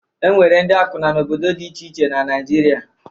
E nwere ndị akwụna n'obdodo dị iche iche na Naịjirịa.